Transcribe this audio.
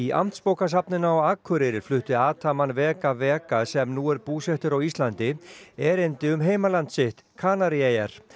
Amtsbókasafninu á Akureyri flutti vega vega sem nú er búsettur á Íslandi erindi um heimaland sitt Kanaríeyjar